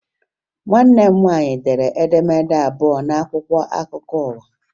Nwanne m nwaanyị dere edemede abụọ n'akwụkwọ akụkwọ ụwa